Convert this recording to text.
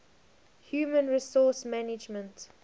human resource management